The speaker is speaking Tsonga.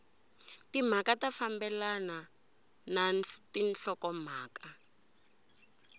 timhaka ya fambelana na nhlokomhaka